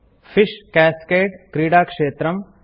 fish cascade - क्रीडाक्षेत्रम्